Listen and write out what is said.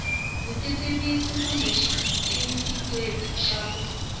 vutitivisi kumbe xitifiketi xa ku